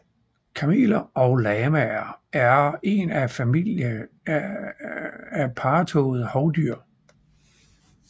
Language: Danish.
Kameler og lamaer er en familie af parrettåede hovdyr